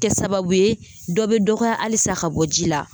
Kɛ sababu ye dɔ bɛ dɔgɔya halisa ka bɔ ji la